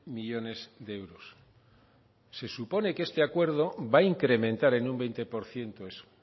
millónes de euros se supone que este acuerdo va a incrementar en un veinte por ciento eso